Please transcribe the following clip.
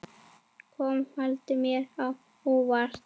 Kom valið mér á óvart?